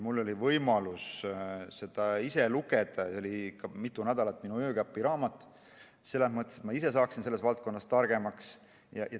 Mul oli võimalus seda ise lugeda ja see oli mitu nädalat minu öökapiraamat, selles mõttes, et ma saaksin selles valdkonnas targemaks.